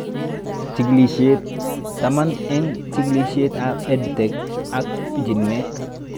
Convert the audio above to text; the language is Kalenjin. Chigilishet taman eng' chikilishet ab EdTech ak pichiinwek